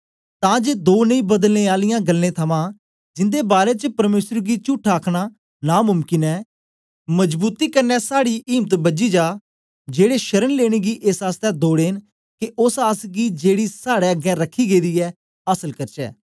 तां जे दो नेई बदलने आलियें गल्लें थमां जिंदे बारै च परमेसर गी चुट्ठा आ आखना नां मुमकिन ऐ मजबूती कन्ने साड़ी इम्त बझी जा जेड़े शरण लेने गी एस आसतै दौड़े न के ओस आस गी जेड़ी साड़े अगें रखी गेदी ऐ आसल करचै